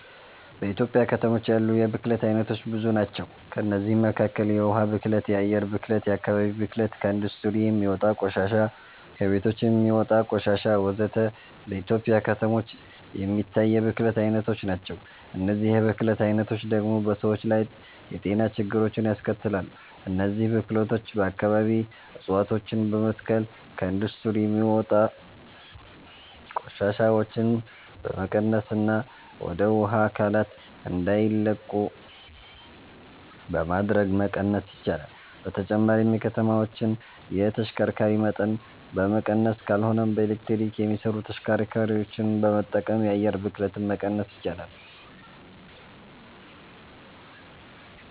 በኢትዮጵያ ከተሞች ያሉ የብክለት አይነቶች ብዙ ናቸው። ከእነዚህም መካከል የውሃ ብክለት፣ የአየር ብክለት፣ የአከባቢ ብክለት፣ ከኢንዱስትሪ የሚወጣ ቆሻሻ፣ ከቤቶች የሚወጣ ቆሻሾች ወዘተ። በኢትዮጵያ ከተሞች የሚታይ የብክለት አይነቶች ናቸው። እነዚህ የብክለት አይነቶች ደግሞ በሰዎች ላይ የጤና ችግሮችን ያስከትላሉ። እነዚህን ብክለቶች በአከባቢ እፀዋቶችን በመትከል፣ ከኢንዱስትሪ የሚወጡ ቆሻሻዎችን በመቀነስና ወደ ውሃ አካላት እንዳይለቁ በማድረግ መቀነስ ይቻላል። በተጨማሪም የከተማዎችን የተሽከርካሪ መጠን በመቀነስ ካልሆነም በኤሌክትሪክ የሚሰሩ ተሽከርካሪዎችን በመጠቀም የአየር ብክለትን መቀነስ ይቻላል።